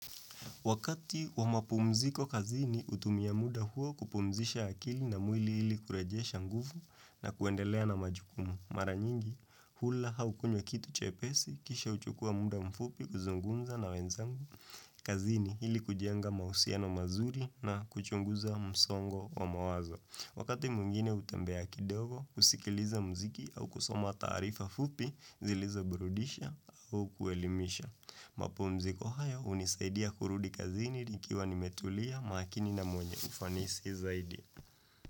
Wakati wa mapumziko kazini, hutumia muda huo kupumzisha akili na mwili ili kurejesha nguvu na kuendelea na majukumu. Mara nyingi, hula au kunywa kitu chepesi, kisha huchukua muda mfupi kuzungumza na wenzangu kazini ili kujenga mahusiano mazuri na kuchunguza msongo wa mawazo. Wakati mwingine hutembea kidogo, husikiliza mziki au kusoma taarifa fupi, zilizo burudisha au kuelimisha. Mapumziko haya hunisaidia kurudi kazini nikiwa nimetulia maakini na mwenye ufanisi zaidi.